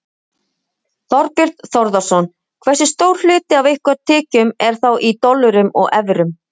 Þorbjörn Þórðarson: Hversu stór hluti af ykkar tekjum er þá í dollurum og evrum?